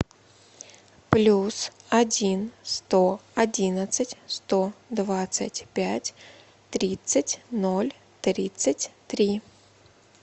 плюс один сто одиннадцать сто двадцать пять тридцать ноль тридцать три